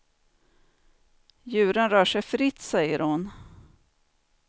Djuren rör sig fritt, säger hon.